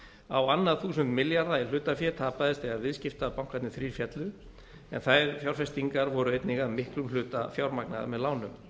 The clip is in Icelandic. á annað þúsund milljarða í hlutafé tapaðist þegar viðskiptabankarnir þrír féllu en þær fjárfestingar voru einnig að miklum hluta fjármagnaðar með lánum